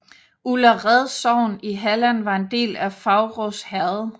Ullared sogn i Halland var en del af Faurås herred